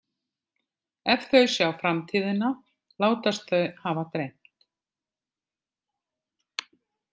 Ef þau sjá framtíðina látast þau hafa dreymt.